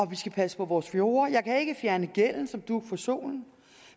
vi skal passe på vores fjorde jeg kan ikke fjerne gælden som dug for solen